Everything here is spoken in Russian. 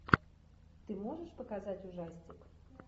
ты можешь показать ужастик